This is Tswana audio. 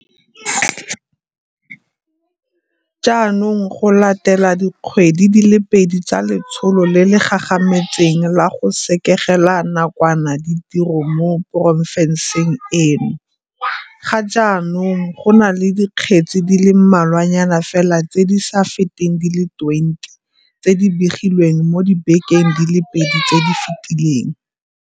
Jaanong, go latela dikgwedi di le pedi tsa letsholo le le gagametseng la go sekegela nakwana ditiro mo porofenseng eo, ga jaanong go na le dikgetse di le mmalwanyana fela tse di sa feteng di le 20 tse di begilweng mo dibekeng di le pedi tse di fetileng.